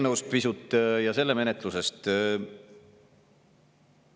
Nüüd pisut eelnõust ja selle menetlusest.